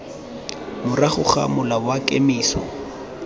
morago ga mola wa kemiso